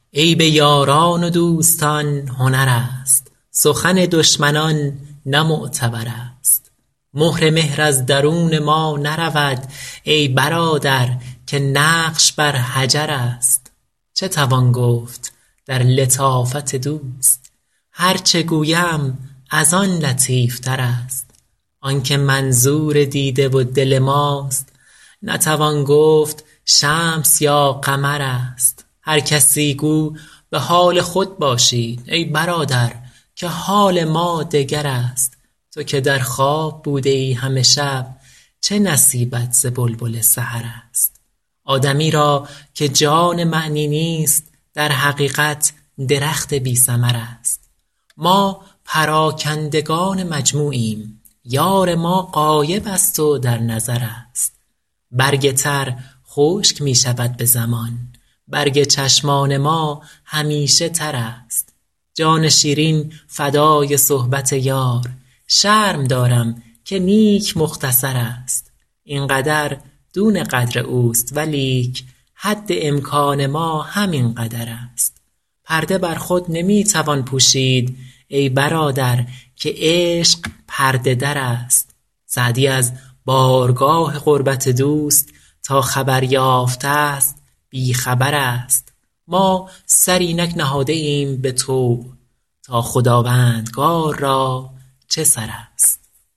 عیب یاران و دوستان هنر است سخن دشمنان نه معتبر است مهر مهر از درون ما نرود ای برادر که نقش بر حجر است چه توان گفت در لطافت دوست هر چه گویم از آن لطیف تر است آن که منظور دیده و دل ماست نتوان گفت شمس یا قمر است هر کسی گو به حال خود باشید ای برادر که حال ما دگر است تو که در خواب بوده ای همه شب چه نصیبت ز بلبل سحر است آدمی را که جان معنی نیست در حقیقت درخت بی ثمر است ما پراکندگان مجموعیم یار ما غایب است و در نظر است برگ تر خشک می شود به زمان برگ چشمان ما همیشه تر است جان شیرین فدای صحبت یار شرم دارم که نیک مختصر است این قدر دون قدر اوست ولیک حد امکان ما همین قدر است پرده بر خود نمی توان پوشید ای برادر که عشق پرده در است سعدی از بارگاه قربت دوست تا خبر یافته ست بی خبر است ما سر اینک نهاده ایم به طوع تا خداوندگار را چه سر است